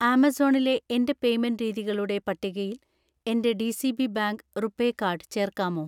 ആമസോണിലെ എൻ്റെ പേയ്‌മെന്റ് രീതികളുടെ പട്ടികയിൽ എൻ്റെ D C. B bank RuPay card ചേർക്കാമോ